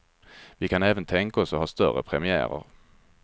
Vi kan även tänka oss att ha stora premiärer.